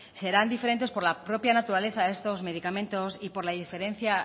serán diferentes por la propia naturaleza de estos medicamentos y por la